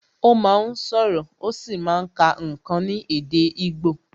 Ó máa ń sọ̀rọ̀, ó sì máa ń kà ǹkan ní èdè igbo